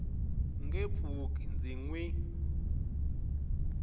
nge pfuki ndzi n wi